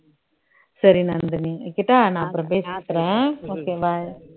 சரி நந்தினி வைக்கட்டா, நான் அப்பறம் பேசுறேன் okay bye